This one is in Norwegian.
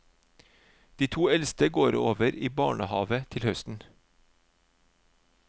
De to eldste går over i barnehave til høsten.